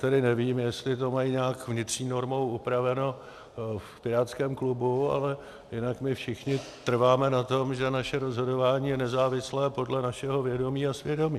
Tedy nevím, jestli to mají nějak vnitřní normou upraveno v pirátském klubu, ale jinak my všichni trváme na tom, že naše rozhodování je nezávislé podle našeho vědomí a svědomí.